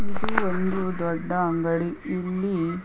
ಇದು ಒಂದು ದೊಡ್ಡ ಅಂಗಡಿ ಇಲ್ಲಿ--